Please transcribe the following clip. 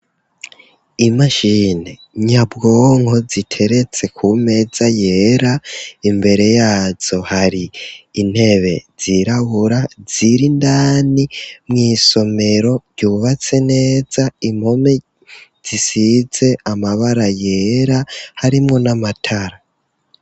Imashini nyabwonko ziteretse ku meza yera, imbere yazo hari intebe zirabura ziri indani mw'isomero ryubatse neza, impome zisize amabara yera harimwo n'amatara.